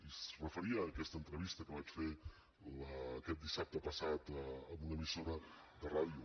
i es referia a aquesta entrevista que vaig fer aquest dissabte passat en una emissora de ràdio